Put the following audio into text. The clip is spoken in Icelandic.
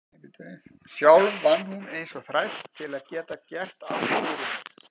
Sjálf vann hún eins og þræll til að geta gert allt fyrir mig.